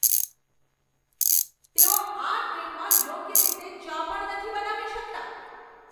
તેઓ આ ટ્રેનમાં યોગ્ય રીતે ચા પણ નથી બનાવી શકતા!